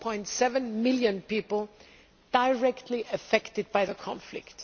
4.7 million people directly affected by the conflict.